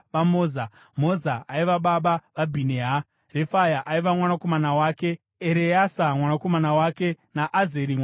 Moza aiva baba vaBhinea; Refaya aiva mwanakomana wake, Ereasa mwanakomana wake naAzeri mwanakomana wake.